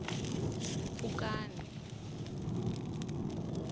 pfukani